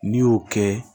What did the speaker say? N'i y'o kɛ